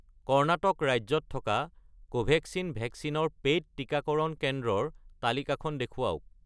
কৰ্ণাটক ৰাজ্যত থকা কোভেক্সিন ভেকচিনৰ পে'ইড টিকাকৰণ কেন্দ্ৰৰ তালিকাখন দেখুৱাওক।